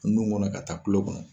Nun kɔnɔ ka taa kulo kɔnɔ.